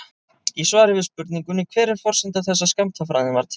Í svari við spurningunni Hver er forsenda þess að skammtafræðin varð til?